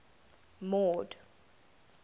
mord